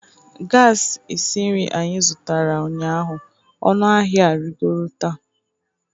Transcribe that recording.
gas esi nri anyị zụtara ụnyaahụ, ọnụ ahịa arịgoro taa